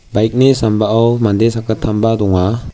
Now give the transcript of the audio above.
bike-ni sambao mande sakgittamba donga.